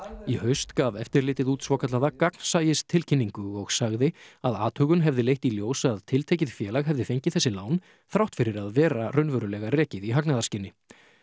í haust gaf eftirlitið út svokallaða gagnsæistilkynningu og sagði að athugun hefði leitt í ljós að tiltekið félag hefði fengið þessi lán þrátt fyrir að vera raunverulega rekið í hagnaðarskyni